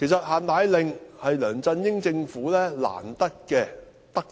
"限奶令"是梁振英政府難得的德政。